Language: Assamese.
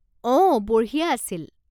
অ, বঢ়িয়া আছিল।